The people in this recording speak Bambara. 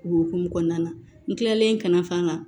O hukumu kɔnɔna na n kilalen kana fa n kan